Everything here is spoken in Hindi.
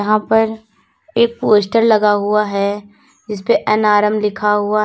यहां पर एक पोस्टर लगा हुआ है जिसपे एन_आर_एम लिखा हुआ --